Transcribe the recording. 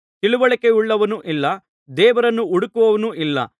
ತಿಳಿವಳಿಕೆಯುಳ್ಳವನು ಇಲ್ಲ ದೇವರನ್ನು ಹುಡುಕುವವನು ಇಲ್ಲ